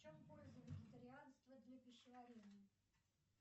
в чем польза вегетарианства для пищеварения